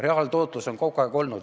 Reaaltootlus on kogu aeg olnud ...